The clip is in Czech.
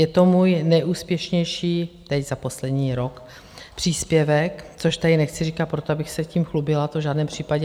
Je to můj nejúspěšnější teď za poslední rok příspěvek, což tady nechci říkat proto, abych se tím chlubila, to v žádném případě.